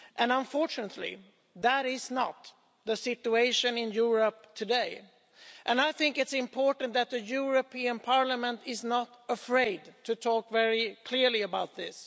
Unfortunately, that is not the situation in Europe today and I think it's important that the European Parliament is not afraid to talk very clearly about this.